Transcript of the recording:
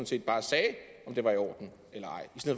set bare sagde om det var i orden eller